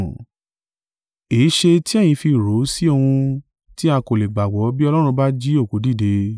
Èéṣe tí ẹ̀yin fi rò o sí ohun tí a kò lè gbàgbọ́ bí Ọlọ́run bá jí òkú dìde?